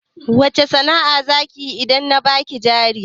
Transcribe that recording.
Wace sana'a zakiyi idan na baki jari